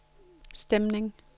stemning